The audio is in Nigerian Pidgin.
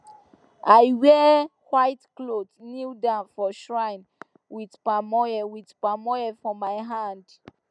i wear white cloth kneel down for shrine with palm oil with palm oil for my hand